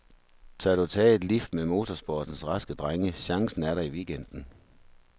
Tør du tage et lift med motorsportens raske drenge, chancen er der i weekenden.